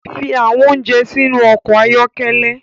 Fi awọn ounjẹ sinu ọkọ ayọkẹlẹ